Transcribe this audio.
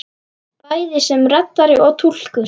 Bæði sem reddari og túlkur!